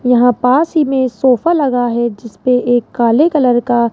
यहां पास ही में सोफा लगा है जिसपे एक काले कलर का--